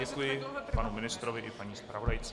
Děkuji panu ministrovi i paní zpravodajce.